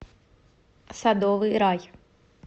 садовый рай